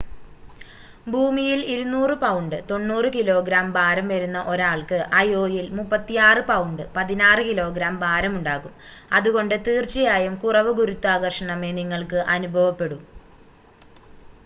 ഭൂമിയിൽ 200 pound 90 kilogram ഭാരം വരുന്ന ഒരാൾക്ക് അയോയിൽ 36 പൗണ്ട് 16 കിലോഗ്രാം ഭാരം ഉണ്ടാകും. അതുകൊണ്ട് തീർച്ചയായും കുറവ് ഗുരുത്വാകർഷണമേ നിങ്ങൾക്ക് അനുഭവപ്പെടൂ